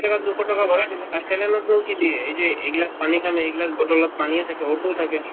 জাগাত দুশ টকা ভৰাই দিলে আৰু saline ত নো কি দিয়ে এই যে এইবিলাক এইগিলাচ পানীৰ খাম এইগিলাচ bottle ত পানীয়ে থাকে O two থাকে